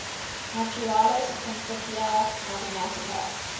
naturalis principia mathematica